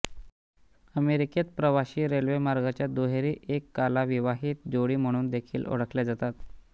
अमेरिकेत प्रवाशी रेल्वेमार्गाच्या दुहेरी एककाला विवाहित जोडी म्हणून देखील ओळखल्या जातात